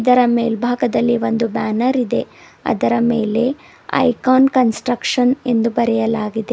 ಇದರ ಮೆಲ್ಬಾಗದಲ್ಲಿ ಒಂದು ಬ್ಯಾನರ್ ಇದೆ ಅದರ ಮೇಲೆ ಐಕಾನ್ ಕನ್ಸ್ಟ್ರಕ್ಷನ್ ಎಂದು ಬರೆಯಲಾಗಿದೆ.